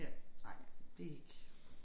Ja ej det ikke